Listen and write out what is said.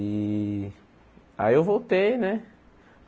E aí eu voltei, né?